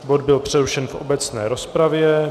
Bod byl přerušen v obecné rozpravě.